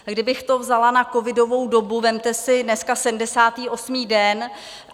Kdybych to vzala na covidovou dobu, vezměte si, dneska 78. den.